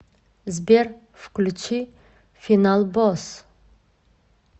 сбер включи финал босс